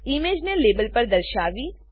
ઈમેજને લેબલ પર દર્શાવી